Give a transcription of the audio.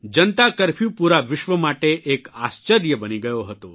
જનતા curfew પૂરા વિશ્વ માટે એક આશ્ચર્ય બની ગયો હતો